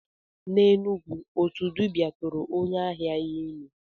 N'Enugwu, otu dibia tụrụ onye ahịa ya ime.